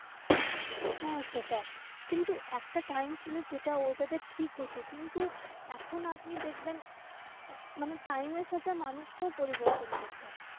হ্যাঁ সেটায়, কিন্তু একটা time ছিল যেটা ওটাতে ঠিক হত। কিন্তু এখন আপনি দেখবেন আহ মানে time এর সাথে মানুষ কেও পরিবর্তন করতে হয়।